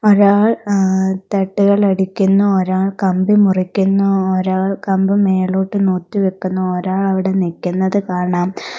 ഒരാൾ ഏഹ് തട്ടുകൾ അടിക്കുന്നു ഒരാൾ കമ്പി മുറിക്കുന്നു ഒരാൾ കമ്പ് മേലോട്ട് നോറ്റ് വെയ്ക്കുന്നു ഒരാൾ അവടെ നിക്കുന്നത് കാണാം.